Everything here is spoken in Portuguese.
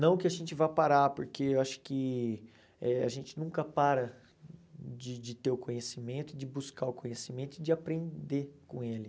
Não que a gente vá parar, porque eu acho que eh a gente nunca para de de ter o conhecimento, de buscar o conhecimento e de aprender com ele.